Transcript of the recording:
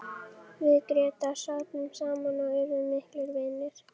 Við Grétar sátum saman og urðum miklir vinir.